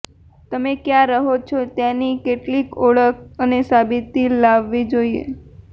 તમે ક્યાં રહો છો તેની કેટલીક ઓળખ અને સાબિતી લાવવી જોઈએ